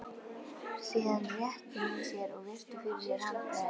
Síðan rétti hún úr sér og virti fyrir sér handbragðið.